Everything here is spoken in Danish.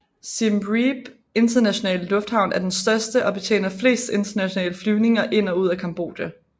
Siem Reap internasjonale lufthavn er den største og betjener flest internationale flyvninger ind og ud af Cambodja